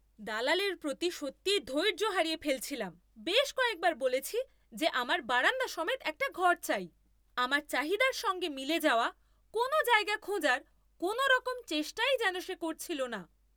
দালালের প্রতি সত্যিই ধৈর্য হারিয়ে ফেলছিলাম। বেশ কয়েকবার বলেছি যে আমার বারান্দা সমেত একটা ঘর চাই। আমার চাহিদার সঙ্গে মিলে যাওয়া কোনও জায়গা খোঁজার কোনওরকম চেষ্টাই যেন সে করছিল না।